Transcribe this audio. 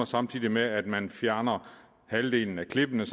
samtidig med at halvdelen af klippene